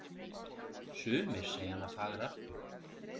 Sumir segja hana fagra.